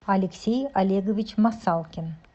алексей олегович масалкин